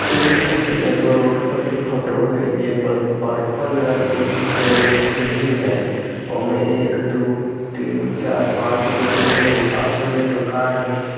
इ कही एगो रोड पर के फोटो है जे पर-पर्पल रंग एक के बिल्डिंग है ओमें एक दो तीन चार पाँच एगो रूम है पाचो में दुकान है।